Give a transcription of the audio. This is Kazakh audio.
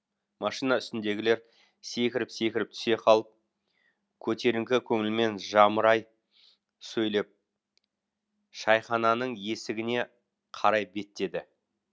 машина үстіндегілер секіріп секіріп түсе қалып көтеріңкі көңілмен жамырай сөйлеп шайхананың есігіне қарай беттеді